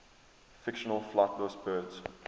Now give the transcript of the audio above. fictional flightless birds